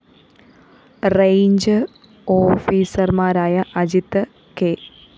range ഓഫീസര്‍മാരായ Ajit K